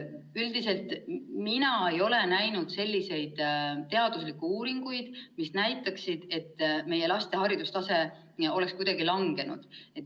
Üldiselt mina ei ole näinud selliseid teaduslikke uuringuid, mis näitaksid, et meie laste haridustase oleks kuidagi langenud.